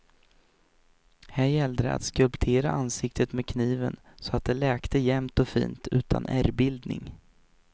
Här gällde det att skulptera ansiktet med kniven så att det läkte jämnt och fint utan ärrbildning.